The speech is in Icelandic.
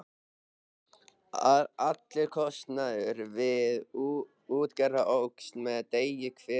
Allur kostnaður við útgerð óx með degi hverjum.